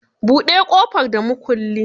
Buɗe ƙofar da mukulli.